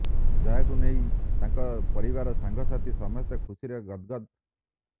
ଯାହାକୁ ନେଇ ତାଙ୍କ ପରିବାର ସାଙ୍ଗ ସାଥୀ ସମସ୍ତେ ଖୁସିରେ ଗଦ୍ଗଦ୍